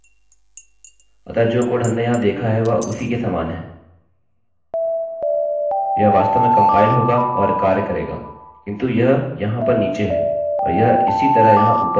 यह वास्तव में कम्पाइल होगा और कार्य करेगाकिन्तु यह यहाँ पर नीचे है और यह इसी तरह यहाँ ऊपर है; हम अभी भी इसके बाद अर्धविराम की अपेक्षा कर रहे हैं